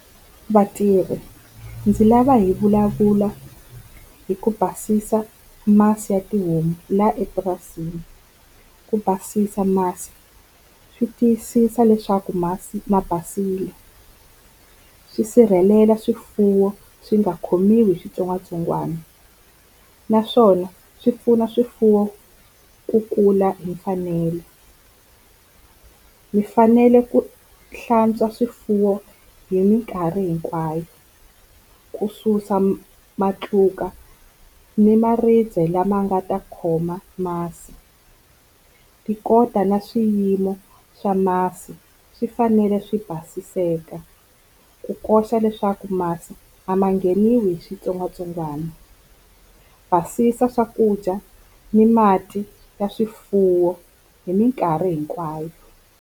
Vatirhi ndzi lava hi vulavula hi ku basisa masi ya tihomu la epurasini. Ku basisa masi swi tiyisisa leswaku masi ma basile, swi sirhelela swifuwo swi nga khomiwi hi xitsongwatsongwana naswona swi pfuna swifuwo ku kula hi mfanelo. Mi fanele ku hlantswa swifuwo hi minkarhi hinkwayo, ku susa matluka ni maribye lama nga ta khoma masi ku kota na swiyimo swa masi swi fanele swi basiseka, ku koxa leswaku masi a ma ngheniwi hi switsongwatsongwana. Basisa swakudya ni mati ya swifuwo hi mikarhi hinkwayo.